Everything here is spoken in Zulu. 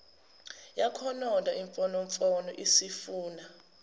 yakhononda imfonomfono isifuna